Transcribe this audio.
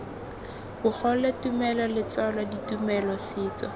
bogole tumelo letswalo ditumelo setso